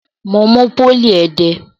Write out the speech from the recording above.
Mo mú pólì ẹdẹ.